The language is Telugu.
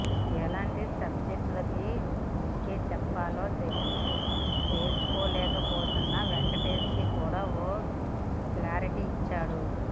ఎలాంటి సబ్జెక్ట్ లకి ఓకే చెప్పాలో తేల్చుకోలేకపోతున్న వెంకటేష్ కి కూడా ఓ క్లారిటీ ఇచ్చాడు